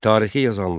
Tarixi yazanlar.